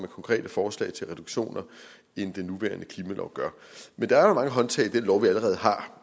konkrete forslag til reduktioner end den nuværende klimalov gør men der er jo mange håndtag i den lov vi allerede har